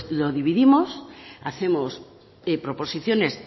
lo dividimos hacemos proposiciones